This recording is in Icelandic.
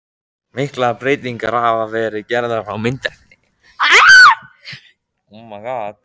Miklar breytingar hafa verið gerðar á myndefni.